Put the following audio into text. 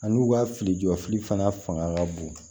A n'u ka fili jɔ fili fana fanga ka bon